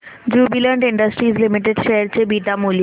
Jubilant industries limited share चे beta मूल्य